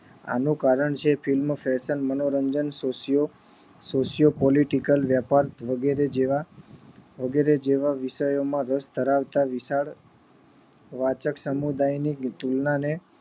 આનું કારણ છે એ છે આજ નો fashion મનોરંજન ખુશીઓ ખુશીઓ પોલીટીકલ વ્યાપાર વગેરે જેવા વગેરે જેવા વિષયો માં રસ ધરાવતા વાચક વાચક સમુદાય ની તુલના ને